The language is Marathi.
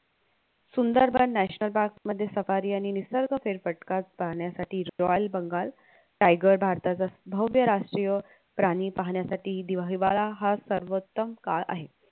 सुंदरबन national park मध्ये सफारी आणि निसर्ग फेरफटका पाहण्यासाठी royal बंगाल tiger भारताचा भव्य राष्ट्रीय प्राणी पाहण्यासाठी दिवा हिवाळा हा सर्वोत्तम काळ आहे